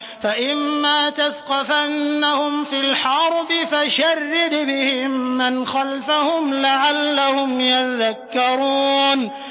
فَإِمَّا تَثْقَفَنَّهُمْ فِي الْحَرْبِ فَشَرِّدْ بِهِم مَّنْ خَلْفَهُمْ لَعَلَّهُمْ يَذَّكَّرُونَ